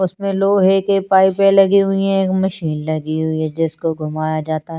उसमे लोहे की पाइपे लगी हुई है मशीन लगी हुई है जिसको घुमाया जाता है--